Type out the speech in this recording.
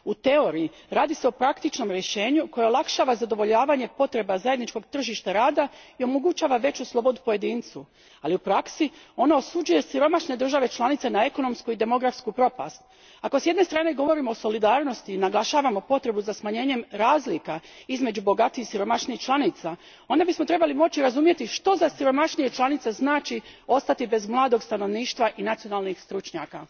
U teoriji, radi se o praktičnom rješenju koje olakšava zadovoljavanje potreba zajedničkog tržišta rada i omogućava veću slobodu pojedincu, ali u praksi, ona osuđuje siromašne države članice na ekonomsku i demografsku propast. Ako s jedne strane govorimo o solidarnosti i naglašavamo potrebu za smanjenjem razlika između bogatijih i siromašnijih članica, onda bismo trebali moći razumjeti što za siromašnije članice znači ostati bez mladog stanovništva i nacionalnih stručnjaka.